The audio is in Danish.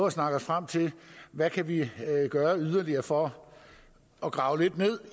at snakke os frem til hvad kan vi gøre yderligere for at grave lidt ned